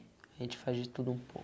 A gente faz de tudo um pouco.